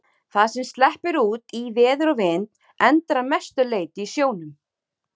Það sem sleppur út í veður og vind endar að mestu leyti í sjónum.